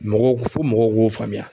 Mɔgɔw fo mɔgɔw k'o faamuya.